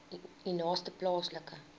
u naaste plaaslike